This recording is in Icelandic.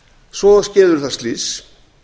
svo skeður það slys